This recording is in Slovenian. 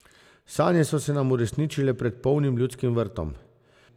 Sanje so se nam uresničile pred polnim Ljudskim vrtom.